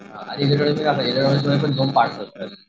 अ electronics मध्ये electronics मध्ये असतात.